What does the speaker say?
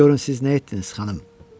Görün siz nə etdiniz, xanım!